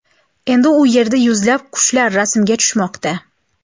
Endi u yerda yuzlab qushlar rasmga tushmoqda .